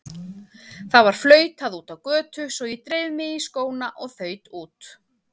Það var flautað úti á götu svo ég dreif mig í skóna og þaut út.